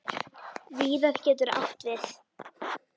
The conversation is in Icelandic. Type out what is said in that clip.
Víðar getur átt við